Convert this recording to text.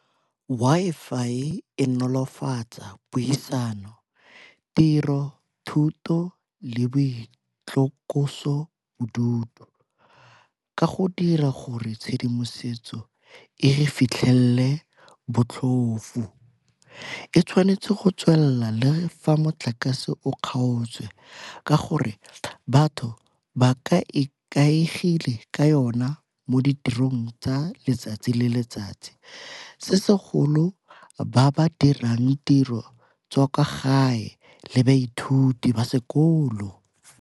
Wi-Fi e nolofatsa puisano, tiro, thuto le boitlosobodutu ka go dira gore tshedimosetso e re fitlhelele botlhofo. E tshwanetse go tswelela le fa motlakase o kgaotswe ka gore batho ba ka ikaegile ka yona mo ditirong tsa letsatsi le letsatsi, se segolo ba ba dirang tiro tsa kwa gae le baithuti ba sekolo.